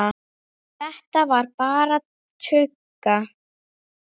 Þetta var bara tugga.